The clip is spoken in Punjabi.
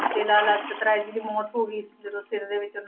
ਤੇ ਲਾਲਾ ਲਾਜਪਤ ਰਾਏ ਜੀ ਦੀ ਮੌਤ ਹੋ ਗਈ ਜਦੋਂ ਸਿਰ ਦੇ ਵਿੱਚ